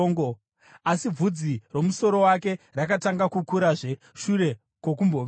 Asi bvudzi romusoro wake rakatanga kukurazve shure kwokumboveurwa.